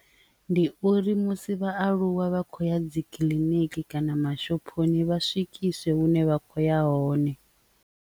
Ndi uri musi vhaaluwa vha khou ya dzi kiḽiniki kana mashophoni vha swikiswa hune vha kho ya hone.